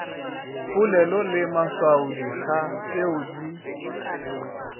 polelo le maswaodikga tšeo di